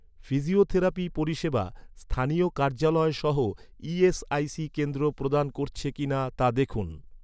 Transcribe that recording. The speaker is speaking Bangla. ফিজিওথেরাপি পরিষেবা, স্থানীয় কার্যালয় সহ ই.এস.আই.সি কেন্দ্র প্রদান করছে কি না, তা দেখুন।